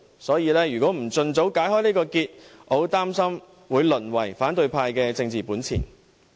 所以，如果不盡早解開這個結，我十分擔心這議題會淪為反對派的政治本錢。